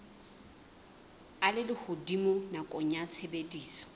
a lehodimo nakong ya tshebediso